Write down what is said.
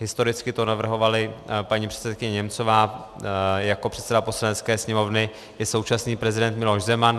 Historicky to navrhovala paní předsedkyně Němcová, jako předseda Poslanecké sněmovny i současný prezident Miloš Zeman.